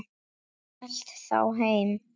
Hélt þá heim.